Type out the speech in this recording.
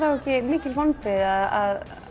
ekki vonbrigði að